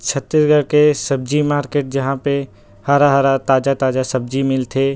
छत्तीसगढ़ के सब्जी मार्केट जहाँ पे हरा-हरा ताजा-ताजा सब्जी मिलथे।